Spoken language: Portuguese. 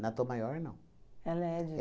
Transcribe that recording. Na Tom Maior, não. Ela é de.